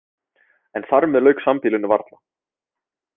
En þar með lauk sambýlinu varla.